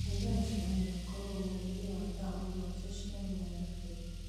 eheria mũcemanio wakwa wa ũmũthĩ wa thaa mũgwanja cia mĩaraho